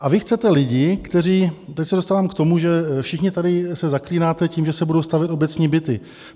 A vy chcete lidi, kteří - teď se dostávám k tomu, že všichni tady se zaklínáte tím, že se budou stavět obecní byty.